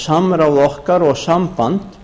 samráð okkar og samband